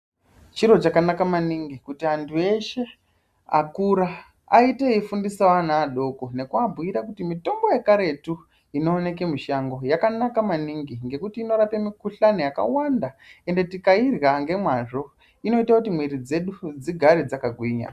Chiro chakanaka maningi kuti andu eshe akura aite eifundisa ana adoko neku abhuyira kuti mitombo yekaretu inoneke mushango yakanaka maningi ngekuti inorape mukushani yakawanda ende tikaidya nemazvo inoita kuti miviri dzedu dzigare dzaka gwinya.